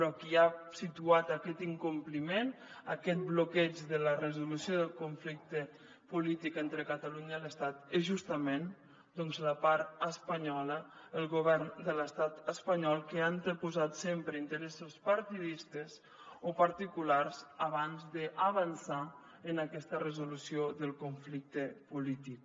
qui ha situat aquest incompliment aquest bloqueig de la resolució del conflicte polític entre catalunya i l’estat és justament doncs la part espanyola el govern de l’estat espanyol que ha anteposat sempre interessos partidistes o particulars abans d’avançar en aquesta resolució del conflicte polític